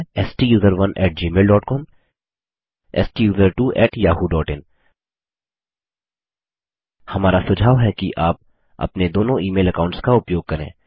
वे है STUSERONEgmailcom STUSERTWOyahooin हमारा सुझाव है कि आप अपने दोनों ईमेल अकाउंट्स का उपयोग करें